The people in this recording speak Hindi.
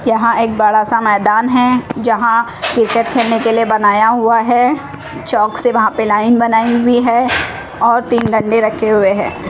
यहां एक बड़ा सा मैदान है जहां क्रिकेट खेलने के लिए बनाया हुआ है चौक से वहां पे लाइन बनाई हुई है और तीन डंडे रखे हुए हैं।